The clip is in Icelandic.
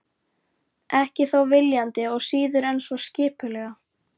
Ekki þó viljandi og síður en svo skipulega.